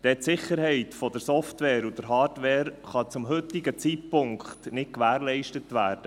Die Sicherheit der Software und der Hardware kann zum heutigen Zeitpunkt nicht gewährleistet werden.